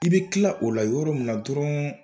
I bɛ kila o la yɔrɔ mina dɔrɔn